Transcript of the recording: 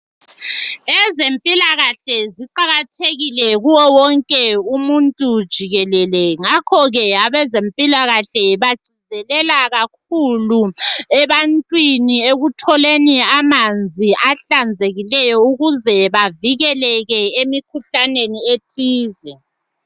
Ezempilakahle ziqakathekile kuwo wonke umuntu jikelele. Ngakho ke abezempilakahle bagcizelela kakhulu ebantwini ekutholeni amanzi ahlanzekileyo, ukuze bavikeleke emikhuhlaneni ethize.